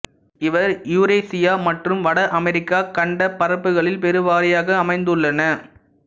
இவை யுரேசியா மற்றும் வட அமெரிக்கா கண்டப் பரப்புகளில் பெருவாாியாக அமைந்துள்ளன